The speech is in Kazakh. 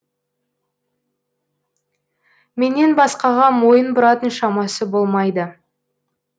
менен басқаға мойын бұратын шамасы болмайды